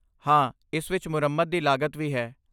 ਹਾਂ, ਇਸ ਵਿੱਚ ਮੁਰੰਮਤ ਦੀ ਲਾਗਤ ਵੀ ਹੈ।